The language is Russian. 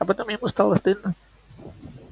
а потом ему стало стыдно